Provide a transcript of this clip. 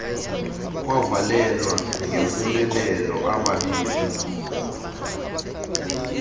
kwavalelwa ngempumelelo ababini